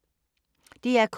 DR K